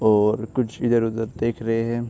और कुछ इधर उधर देख रहे है।